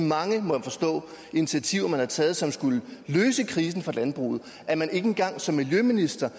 mange må jeg forstå initiativer der er blevet taget som skulle løse krisen for landbruget at man ikke engang som miljøminister